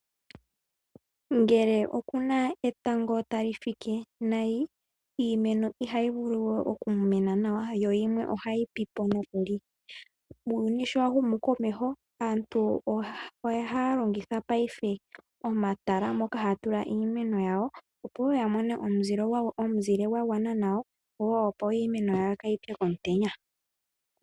Ngele okuna etango tali fike nayi, iimeno ihayi okumena nawa yo yimwe ohayi pipo nokuli, muuyuni sho wa humu komeho aantu ohaa longitha omatala moka haya tula iimeno yawo, opo woo iimeno yawo yimone omuzile gwagwana nawa yo kaayi pye komutenya.